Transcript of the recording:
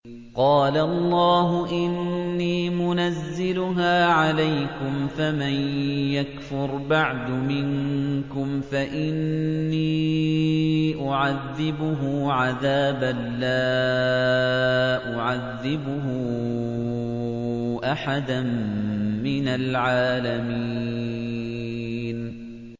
قَالَ اللَّهُ إِنِّي مُنَزِّلُهَا عَلَيْكُمْ ۖ فَمَن يَكْفُرْ بَعْدُ مِنكُمْ فَإِنِّي أُعَذِّبُهُ عَذَابًا لَّا أُعَذِّبُهُ أَحَدًا مِّنَ الْعَالَمِينَ